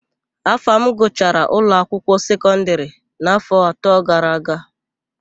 Afam gụchara ụlọakwụkwọ sekọndịrị n'áfọ̀ atọ gara aga.